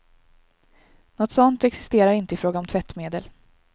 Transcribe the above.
Något sådant existerar inte i fråga om tvättmedel.